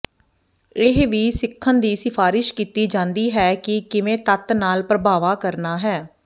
ਇਹ ਵੀ ਸਿੱਖਣ ਦੀ ਸਿਫਾਰਸ਼ ਕੀਤੀ ਜਾਂਦੀ ਹੈ ਕਿ ਕਿਵੇਂ ਤੱਤ ਨਾਲ ਪ੍ਰਭਾਵਾਂ ਕਰਨਾ ਹੈ